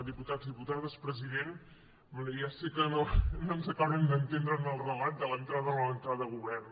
diputats diputades president bé ja sé que no ens acabarem d’entendre en el relat de l’entrada o la no entrada a govern